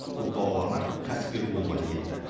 көпбалалы ана кәсіпкер болуға ниетті